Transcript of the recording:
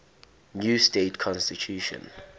new state constitution